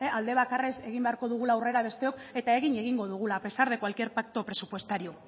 aldebakarrez egin beharko dugula aurrera besteok eta egin egingo dugula a pesar de cualquier pacto presupuestario